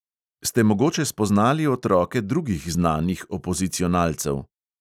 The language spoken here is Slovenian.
"Ste mogoče spoznali otroke drugih znanih opozicionalcev?"